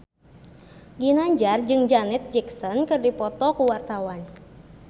Ginanjar jeung Janet Jackson keur dipoto ku wartawan